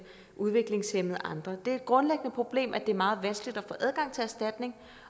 udviklingshæmmede og andre det er et grundlæggende problem at det er meget vanskeligt at få adgang til erstatning